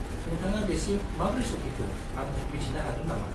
नोंथाङा बेसिम माब्रै सफैखो आं मिथिनो हागोन नामा?